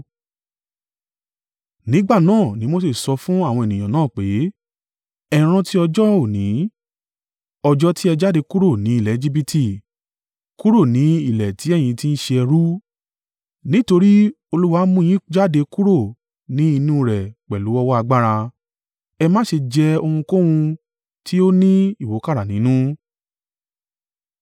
Nígbà náà ni Mose sọ fún àwọn ènìyàn náà pé, “Ẹ rántí ọjọ́ òní, ọjọ́ ti ẹ jáde kúrò ni ilẹ̀ Ejibiti, kúrò ní ilẹ̀ tí ẹ̀yin ti ń ṣe ẹrú, nítorí Olúwa mú un yín jáde kúrò ni inú rẹ̀ pẹ̀lú ọwọ́ agbára. Ẹ má ṣe jẹ ohunkóhun tí ó ni ìwúkàrà nínú.